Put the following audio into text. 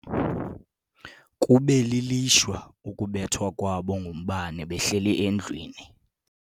Kube lilishwa ukubethwa kwabo ngumbane behleli endlwini.